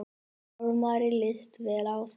Hjálmari líst vel á það.